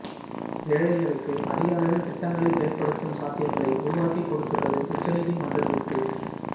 ஏழைகளுக்கு அதிக அளவில் திட்டங்களை செயல்படுத்தும் சாத்தியங்களை உருவாக்கிக் கொடுத்துள்ளது உச்ச நீதிமன்ற தீர்ப்பு